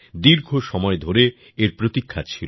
দীর্ঘ সময় ধরে এর প্রতীক্ষা ছিল